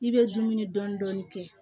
I bɛ dumuni dɔɔnin dɔɔnin kɛ